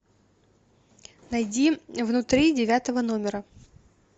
найди внутри девятого номера